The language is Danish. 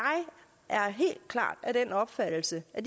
er helt klart af den opfattelse at